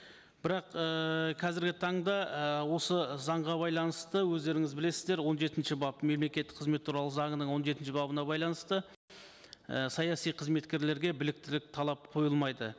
бірақ ііі қазіргі таңда і осы заңға байланысты өздеріңіз білесіздер он жетінші бап мемлекеттік қызметі туралы заңының он жетінші бабына байланысты і саяси қызметкерлерге біліктілік талап қойылмайды